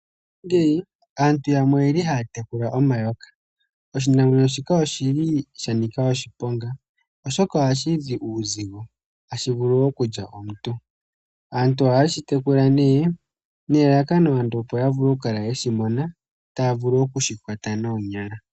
Aantu yamwe oye li haa tekula omayoka. Oshinamwenyo shika oshi li sha nika oshiponga, oshoka oha shi zi uuzigio, ha shi vulu wo oku lya omuntu. Aantu oha ye shi tekula ne nelallakano, opo ya vule oku kala ye shi mona, taa vulu oku shi kwata moonyala.